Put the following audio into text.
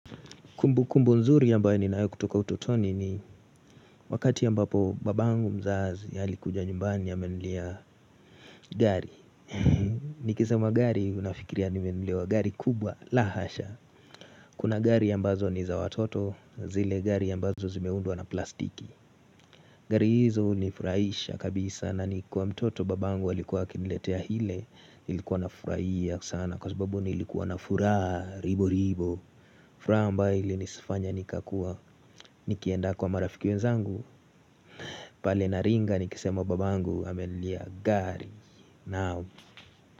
Kumbukumbu nzuri ambayo ninayo kutoka utotoni ni wakati ambapo babangu mzazi alikuja nyumbani amenilia gari. Nikisema gari unafikiria nimenunuliwa gari kubwa, la hasha. Kuna gari ambazo ni za watoto, zile gari ambazo zimeundwa na plastiki. Gari hizo nilifurahisha kabisa na nikwa mtoto babangu alikuwa akiniletea hile, nilikuwa nafurahia sana kwa sababu nilikuwa na furaha riburubu. Furaha ambayo ilinisifanya nikakuwa nikienda kwa marafiki zangu pale Naringa nikisema babangu amenilia gari.